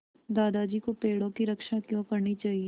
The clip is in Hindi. दादाजी को पेड़ों की रक्षा क्यों करनी चाहिए